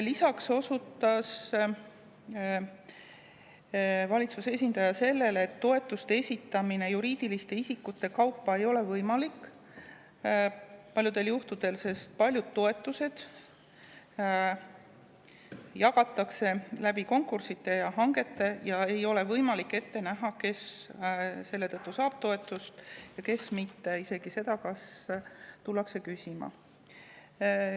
Lisaks osutas valitsuse esindaja sellele, et toetuste esitamine juriidiliste isikute kaupa ei ole paljudel juhtudel võimalik, sest paljud toetused jagatakse konkurssideja hangete tulemuste põhjal ning selle tõttu ei ole võimalik ette näha, kes saab toetust ja kes mitte, isegi mitte seda, kas tullakse küsima.